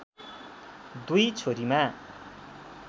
दुई छोरीमा